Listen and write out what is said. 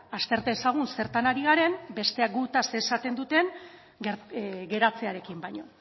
azter dezagun zertan ari garen besteak gutaz esaten duten geratzearekin baino